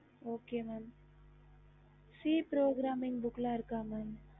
okey mam c program mam